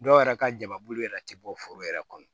Dɔw yɛrɛ ka jamakulu yɛrɛ ti bɔ foro yɛrɛ kɔnɔ